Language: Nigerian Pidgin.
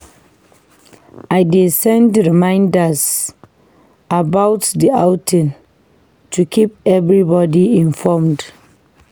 I dey send reminders about the outing to keep everybody informed.